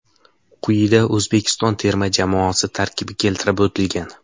Quyida O‘zbekiston terma jamoasi tarkibi keltirib o‘tilgan: !